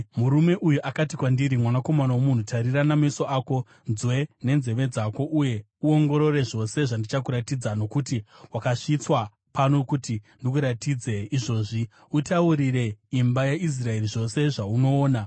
Murume uyu akati kwandiri, “Mwanakomana womunhu, tarira nameso ako unzwe nenzeve dzako uye uongorore zvose zvandichakuratidza, nokuti wakasvitswa pano kuti ndikuratidze izvozvi. Utaurire imba yaIsraeri zvose zvaunoona.”